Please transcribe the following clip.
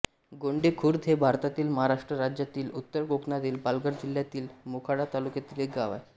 गोंडे खुर्द हे भारतातील महाराष्ट्र राज्यातील उत्तर कोकणातील पालघर जिल्ह्यातील मोखाडा तालुक्यातील एक गाव आहे